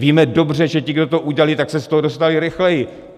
Víme dobře, že ti, kdo to udělali, tak se z toho dostali rychleji.